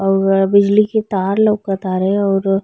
और बिजली के तार लोकतारे और --